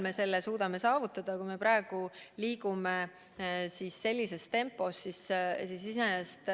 See suurusjärk oleks 680 000 inimest.